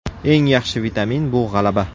Eng yaxshi vitamin bu g‘alaba.